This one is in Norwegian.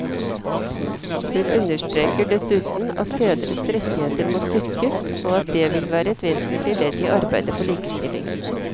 Hun understreker dessuten at fedres rettigheter må styrkes, og at dét vil være et vesentlig ledd i arbeidet for likestilling.